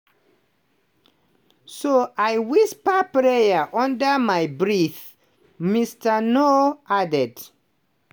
so i whisper prayer under my breath" mr nuur add.